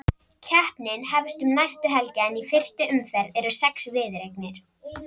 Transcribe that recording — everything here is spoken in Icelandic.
Keppnin hefst um næstu helgi en í fyrstu umferð eru sex viðureignir.